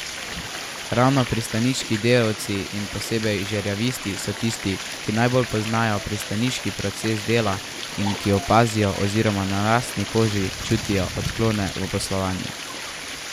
Ravno pristaniški delavci in posebej žerjavisti so tisti, ki najbolj poznajo pristaniški proces dela in ki opazijo oziroma na lastni koži čutijo odklone v poslovanju.